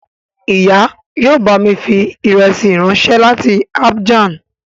Ìyá yóò bámi fi ìrẹsí ráńṣẹ́ láti Abijan